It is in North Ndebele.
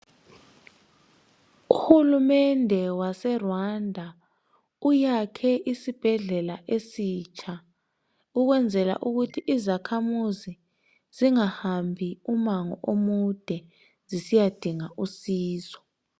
Uhulumende wase Rwanda uyakhe isibhedlela esitsha ukwenzela ukuthi izakhamuzi zingahambi umango omude zisiyadinga usizo.